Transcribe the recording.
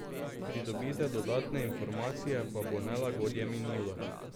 Pridobite dodatne informacije pa bo nelagodje minilo.